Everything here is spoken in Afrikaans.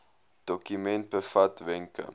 dokument bevat wenke